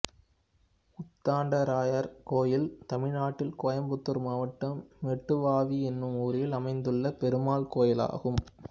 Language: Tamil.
உத்தண்டராயர் கோயில் தமிழ்நாட்டில் கோயம்புத்தூர் மாவட்டம் மெட்டுவாவி என்னும் ஊரில் அமைந்துள்ள பெருமாள் கோயிலாகும்